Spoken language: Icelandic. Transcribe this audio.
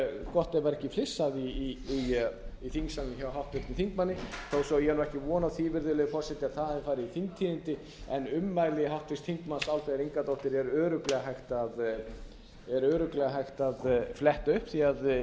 gott ef það var ekki flissað í þingsalnum hjá háttvirtum þingmanni þó svo að ég eigi ekki von á því virðulegi forseti að það hafi farið í þingtíðindi en ummælum háttvirts þingmanns álfheiðar ingadóttur er örugglega hægt að fletta upp því að